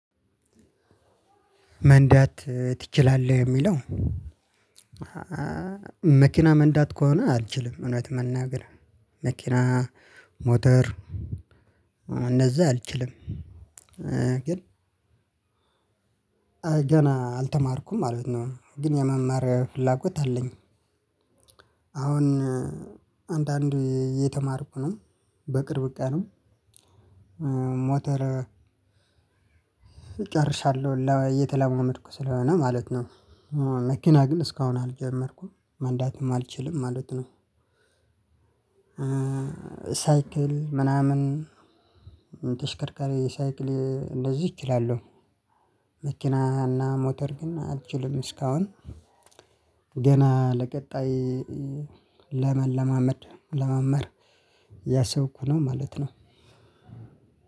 መንዳት ትችላለህ እሚለው መኪና መንዳት ከሆነ አልችልም እውነት መናገር መኪና ሞተር እነዛ አልችልም። ግን ገና አልተማርኩም ማለት ነው ግን የመማር ፍላጎት አለኝ። አሁን አንዳንድ እየተማርኩ ነው በቅርብ ቀንም። ሞተር ጨርሻለሁ እየተለማመድኩ ስለሆነ ማለት ነው። መኪና ግን እስካሁን አልጀመርኩም መንዳትም አልችልም ማለት ነው። ሳይክል ምናምን ተሽከርካሪ ሳይክል እንደዚህ እችላለሁ። መኪና እና ሞተር ግን አልችልም እስካሁን ገና ለቀጣይ ለመለማመድ ለመመር እያሰብኩ ነው ማለት ነው።